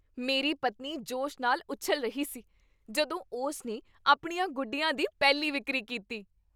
ਮੇਰੀ ਪਤਨੀ ਜੋਸ਼ ਨਾਲ ਉਛਲ ਰਹੀ ਸੀ ਜਦੋਂ ਉਸ ਨੇ ਆਪਣੀਆਂ ਗੁੱਡੀਆਂ ਦੀ ਪਹਿਲੀ ਵਿਕਰੀ ਕੀਤੀ।